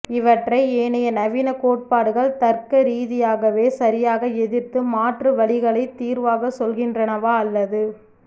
இவற்றை ஏனைய நவீன கோட்பாடுகள் தர்க்க ரீதியாகவே சரியாக எதிர்த்து மாற்று வழிகளைத் தீர்வாகச் சொல்கின்றனவா அல்லது